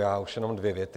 Já už jenom dvě věty.